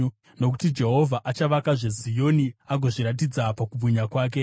Nokuti Jehovha achavakazve Zioni, agozviratidza pakubwinya kwake.